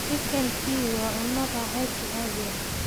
Chicken pie waa cunto raaxaysi caadi ah.